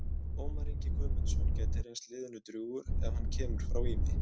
Ómar Ingi Guðmundsson gæti reynst liðinu drjúgur en hann kemur frá Ými.